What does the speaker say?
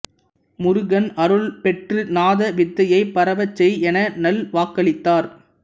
முருகன் அருள் பெற்று நாத வித்தையைப் பரவச் செய் என நல் வாக்களித்தார்